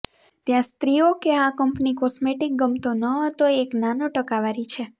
ત્યાં સ્ત્રીઓ કે આ કંપની કોસ્મેટિક ગમતો ન હતો એક નાનો ટકાવારી છે